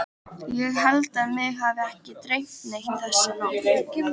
Ég held að mig hafi ekki dreymt neitt þessa nótt.